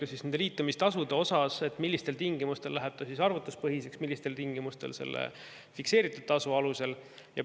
Arutelu oli ka liitumistasude üle, millistel tingimustel läheb see arvutuspõhiseks ja millistel tingimustel käib fikseeritud tasu alusel.